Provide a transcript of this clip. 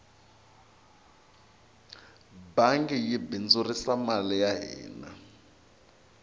bangi yi bindzurisa mali ya hina